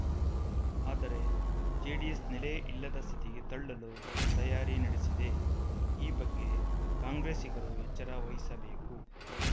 ಆದರೆ ಜೆಡಿಎಸ್‌ ನೆಲೆ ಇಲ್ಲದ ಸ್ಥಿತಿಗೆ ತಳ್ಳಲು ತಯಾರಿ ನಡೆಸಿದೆ ಈ ಬಗ್ಗೆ ಕಾಂಗ್ರೆಸ್ಸಿಗರು ಎಚ್ಚರ ವಹಿಸಬೇಕು